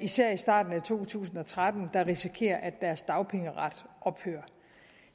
især i starten af to tusind og tretten der risikerer at deres dagpengeret ophører